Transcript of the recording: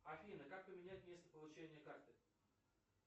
афина как поменять место получения карты